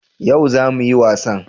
Yau za mu yi wasan?